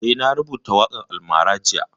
Eh, na rubuta waƙan almara jiya